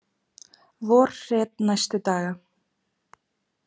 Vorhret næstu daga